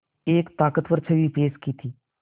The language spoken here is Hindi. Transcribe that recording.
एक ताक़तवर छवि पेश की थी